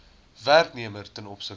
werknemer ten opsigte